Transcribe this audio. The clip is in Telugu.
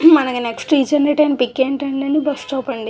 మనకి నెక్స్ట్ తీసుండేటి పిక్ ఏంటండీ బస్సు స్టాప్ అండి.